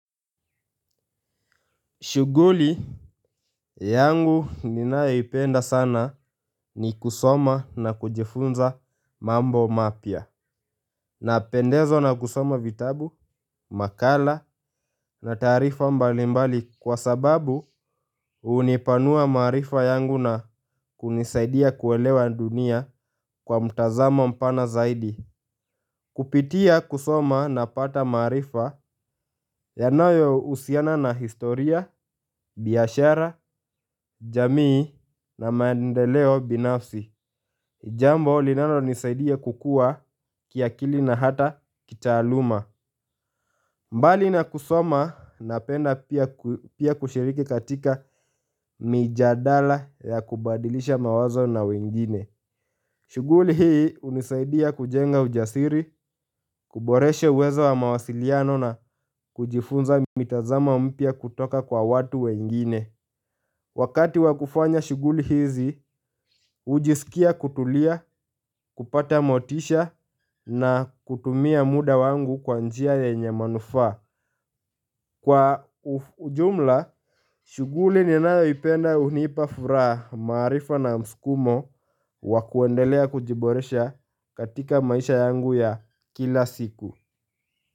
Shughuli yangu ninayopenda sana ni kusoma na kujifunza mambo mapya napendezwa na kusoma vitabu, nakhala na taarifa mbalimbali kwa sababu hu hunipanua maarifa yangu na hunisaidia kuelewa dunia kwa upana zaidi. Kupitia kusoma napata maarifa yanayohusiana na historia, biashara, jamii na maendeleo binafsi jambo linano nisaidia kukuwa kiakili na hata kitaaluma. Mbali na kusoma, napenda pia kushiriki katika mijadala ya kubadilisha mawazo na wengine. Shughuli hii hunisaidia kujenga ujasiri, kuboresha uweza wa mawasiliano na kujifunza mtazamo mpya kutoka kwa watu wengine. Wakati wa kufanya shughuli hizi, hujisikia kutulia, kupata motisha na kutumia muda wangu kwa njia yenye manufaa. Kwa ujumla, shughuli ninayoipenda hunipa furaha, maarifa na mskumo wa kuendelea kujiboresha katika maisha yangu ya kila siku.